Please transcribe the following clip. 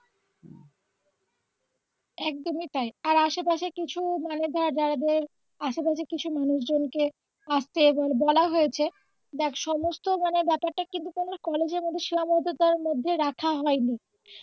একদম ই তাই আর আসে পাশে কিছু মানে ধর যাদের আশেপাশে কিছু মানুষজনকে আসতে ধর বলা হয়েছে দেখ সমস্ত মানে ব্যাপারটা কিন্তু কোন কলেজের মধ্যে সীমাবদ্ধতার মধ্যে রাখা হয়নি ।